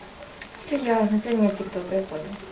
все ясно тянет тик ток